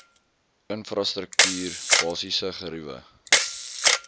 infrastruktuur basiese geriewe